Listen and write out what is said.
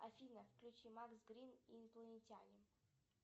афина включи макс грин и инопланетяне